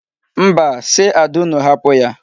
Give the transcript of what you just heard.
Mba, si Ada unu hapụ ya.